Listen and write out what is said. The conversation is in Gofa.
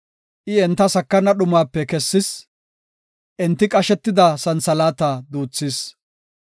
I enta sakana dhumape kessis; enti qashetida santhalaata duuthis.